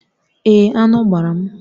Èé, aṅụ gbara m